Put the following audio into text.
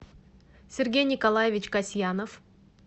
сергей николаевич касьянов